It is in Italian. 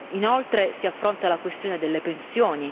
Inoltre, si affronta la questione delle pensioni.